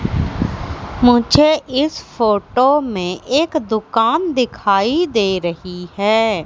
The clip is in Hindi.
मुझे इस फोटो में एक दुकान दिखाई दे रही है।